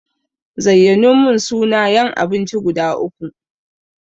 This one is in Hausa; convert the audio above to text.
Zayyanomin suna yan abinci guda uku.